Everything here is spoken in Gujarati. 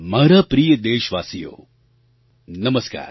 મારા પ્રિય દેશવાસીઓ નમસ્કાર